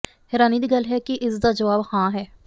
ਹੈਰਾਨੀ ਦੀ ਗੱਲ ਹੈ ਕਿ ਇਸ ਦਾ ਜਵਾਬ ਹਾਂ ਹੈ